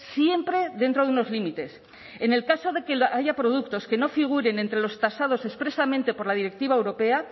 siempre dentro de unos límites en el caso de que haya productos que no figuren entre los tasados expresamente por la directiva europea